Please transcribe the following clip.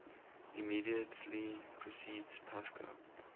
immediately precedes pascha